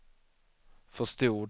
förstod